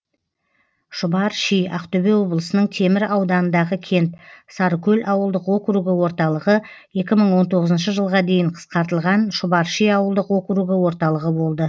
шұбарши ақтөбе облысының темір ауданындағы кент сарыкөл ауылдық округі орталығы екі мың он тоғызыншы жылға дейін қысқартылған шұбарши ауылдық округі орталығы болды